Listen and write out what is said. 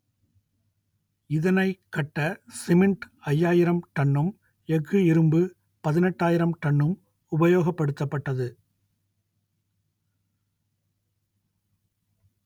இதனைக் கட்ட சிமெண்ட் ஐயாயிரம் டன்னும் எஃகு இரும்பு பதினெட்டாயிரம் டன்னும் உபயோகப்படுத்தப்பட்டது